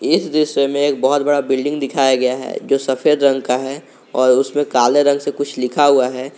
इस दृश्य में एक बहुत बड़ा बिल्डिंग दिखाया गया है जो सफेद रंग का है और उसमें काले रंग से कुछ लिखा हुआ है।